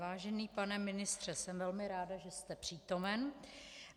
Vážený pane ministře, jsem velmi ráda, že jste přítomen.